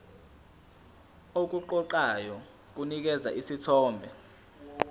okuqoqayo kunikeza isithombe